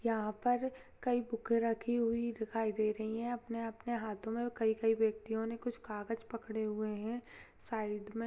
यहाँ पर कई बुकें रखी हुई दिखाई दे रही हैं अपने-अपने हाथों में कई-कई व्यक्तियों ने कुछ कागज पकड़े हुए हैं साइड में।